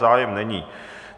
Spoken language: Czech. Zájem není.